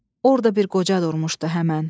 Orda bir qoca durmuşdu həmən.